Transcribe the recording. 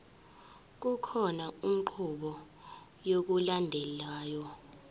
kukhona inqubo yokulandelayo